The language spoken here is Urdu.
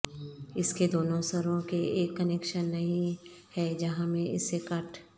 اس کے دونوں سروں کے ایک کنکشن نہیں ہے جہاں میں اسے کاٹ